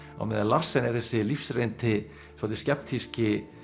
á meðan Larsen þessi lífsreyndi svolítið